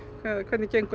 hvernig gengur